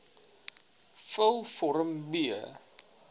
vul vorm b